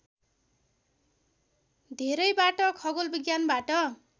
धेरैबाट खगोल विज्ञानबाट